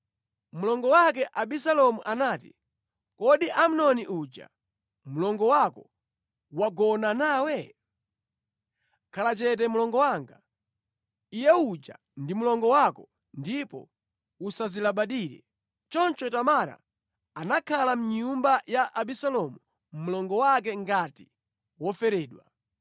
Mlongo wake Abisalomu anati, “Kodi Amnoni uja mlongo wako wagona nawe? Khala chete mlongo wanga. Iye uja ndi mlongo wako ndipo usazilabadire.” Choncho Tamara anakhala mʼnyumba ya Abisalomu mlongo wake ngati woferedwa.